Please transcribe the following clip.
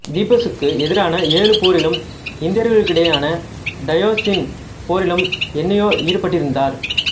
தீப்சுக்கு எதிரான ஏழு போரிலும் இந்தியர்களுடனான டயோனிசசின் போரிலும் என்யோ ஈடுபட்டிருந்தார்